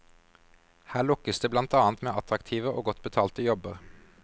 Her lokkes det blant annet med attraktive og godt betalte jobber.